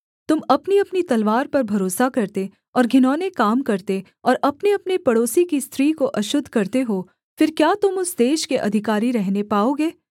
तुम अपनीअपनी तलवार पर भरोसा करते और घिनौने काम करते और अपनेअपने पड़ोसी की स्त्री को अशुद्ध करते हो फिर क्या तुम उस देश के अधिकारी रहने पाओगे